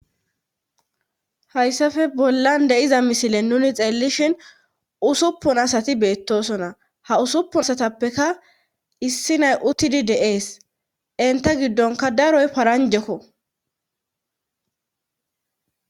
Hayssafe bollan de'iza misile nuni xeellishin usuppun asati beettosona ha usuppun asatappeka issi nay uttidi deees inta giddonka daroy paranjekko.